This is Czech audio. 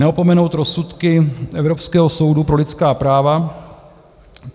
neopomenout rozsudky Evropského soudu pro lidská práva.